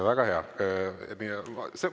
Väga hea!